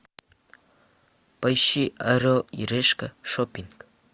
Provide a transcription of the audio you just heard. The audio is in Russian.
поищи орел и решка шоппинг